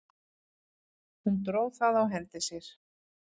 Hún dró það á hendi sér.